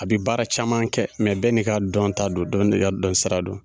A bi baara caman kɛ bɛɛ n'i ka dɔnta don dɔ n'i ka dɔnsira don.